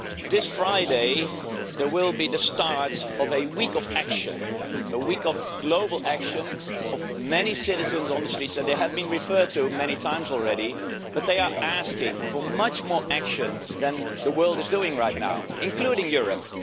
This Friday will be the start of a week of action, a week of global action, of many citizens on the streets, and they have been referred to many times already, but they are asking for much more action than the world is taking right now, including Europe.